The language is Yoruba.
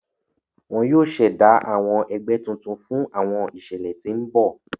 Wón yóò s'ẹda àwọn ègbé tuntun fún àwọn iṣẹlẹ tí n bọ.